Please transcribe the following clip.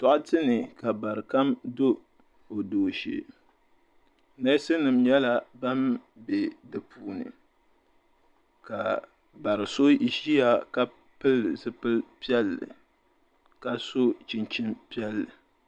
Doɣate ni ka bari kam do o dooshee neesi nima nyɛla ban be dipuuni ka bari so ʒia ka pili zipil'piɛlli ka so chinchini piɛlli.